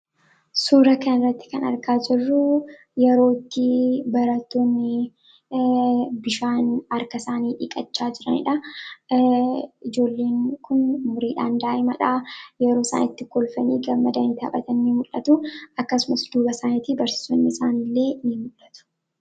Suura kana irratti kan argaa jirru yeroo itti barattoonni bishaaniin harka isaanii dhiqachaa jiranidha. Ijoolleen kun umriidhaan daa'imadha. Yeroo isaanitti kolfanii gammadan ni mul'atu. Akkasumas, barsiisonni isaanii duuba isaaniitiin ni mul'atu.